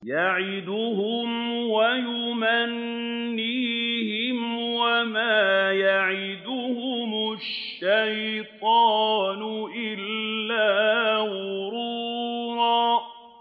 يَعِدُهُمْ وَيُمَنِّيهِمْ ۖ وَمَا يَعِدُهُمُ الشَّيْطَانُ إِلَّا غُرُورًا